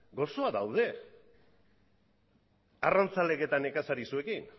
gozoa daude arrantzaleek eta nekazariek zuekin